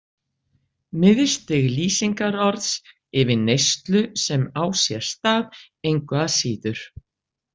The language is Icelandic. Miðstig lýsingarorðs yfir neyslu sem á sér stað engu að síður.